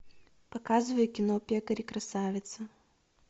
показывай кино пекарь и красавица